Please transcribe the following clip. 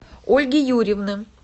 ольги юрьевны